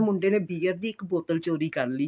ਮੁੰਡੇ ਨੇ bear ਦੀ ਇੱਕ ਬੋਤਲ ਚੋਰੀ ਕਰ ਲਈ